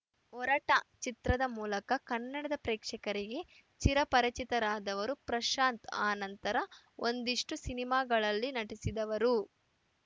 ಒರಟ ಚಿತ್ರದ ಮೂಲಕ ಕನ್ನಡ ಪ್ರೇಕ್ಷಕರಿಗೆ ಚಿರಪರಿಚಿತರಾದವರು ಪ್ರಶಾಂತ್‌ ಆ ನಂತರ ಒಂದಿಷ್ಟುಸಿನಿಮಾಗಳಲ್ಲಿ ನಟಿಸಿದವರು